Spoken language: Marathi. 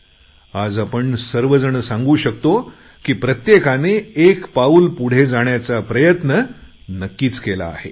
आणि आज आपण सर्व जण सांगू शकतो की प्रत्येकाने एक पाउल पुढे जाण्याचा प्रयत्न नक्कीच केला आहे